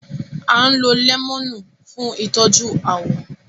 À ń lo lẹ́mọ̀nù fún ìtọ́jú àwọ̀